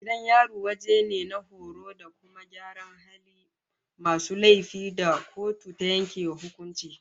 Gidan yari wajen ne na horo da kuma gyaran halin masu laifi da kotu ta yanke wa hukunci